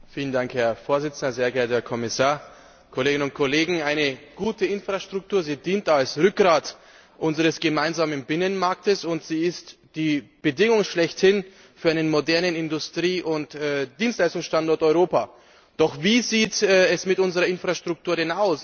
Herr Präsident, sehr geehrter Herr Kommissar, liebe Kolleginnen und Kollegen! Eine gute Infrastruktur dient als Rückgrat unseres gemeinsamen Binnenmarkts, und sie ist die Bedingung schlechthin für einen modernen Industrie und Dienstleistungsstandort Europa. Doch wie sieht es mit unserer Infrastruktur denn aus?